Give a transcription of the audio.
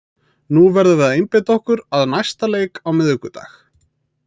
Nú verðum við að einbeita okkur að næsta leik á miðvikudag.